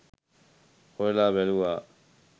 හොයල බැලුවා